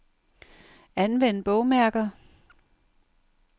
Anvend bogmærker.